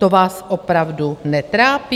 To vás opravdu netrápí?